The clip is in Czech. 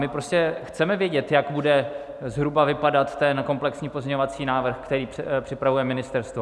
My prostě chceme vědět, jak bude zhruba vypadat ten komplexní pozměňovací návrh, který připravuje ministerstvo.